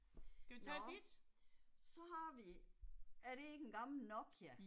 Nåh. Så har vi, er det ikke en gammel Nokia?